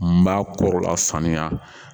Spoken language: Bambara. N b'a koro la saniya